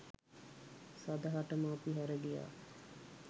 සදහටම අපි හැර ගියා